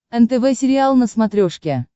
нтв сериал на смотрешке